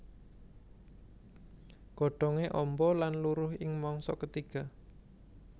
Godhongé amba lan luruh ing mangsa ketiga